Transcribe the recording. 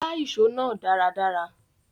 Gbá ìso náà dáradára